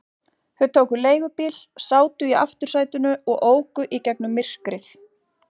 Þau tóku leigubíl, sátu í aftursætinu og óku í gegnum myrkrið.